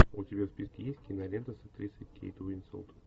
у тебя в списке есть кинолента с актрисой кейт уинслет